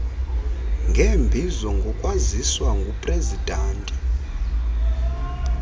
ngeembizo ngokwaziswa ngupresidanti